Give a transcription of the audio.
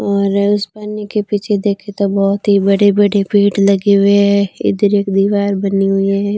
और उस पानी के पीछे देखें तो बहुत ही बड़े-बड़े पेड़ लगे हुए हैं इधर एक दीवार बनी हुई है।